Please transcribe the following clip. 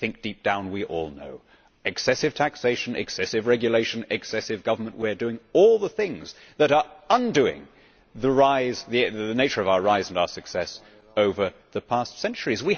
I think deep down we all know excessive taxation, excessive regulation, excessive government we are doing all the things that are undoing the nature of our rise and our success over the past centuries.